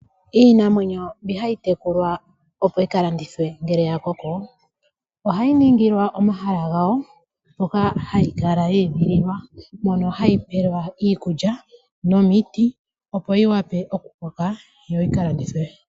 Iinamwenyo mbi hayi tekulwa yo yi ka landithwe ngele ya koko, ohayi ningilwa omahala gawo hoka hayi kala ya edhililwa. Mono hayi pelwa iikulya nomiti opo yi wape okukoka, yo yi ka landithwe.